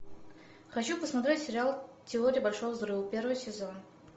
хочу посмотреть сериал теория большого взрыва первый сезон